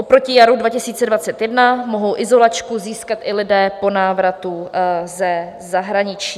Oproti jaru 2021 mohou izolačku získat i lidé po návratu ze zahraničí.